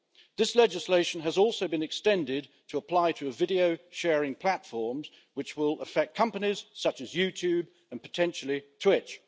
This legislation has also been extended to apply to video-sharing platforms, which will affect companies such as YouTube and, potentially, Twitch.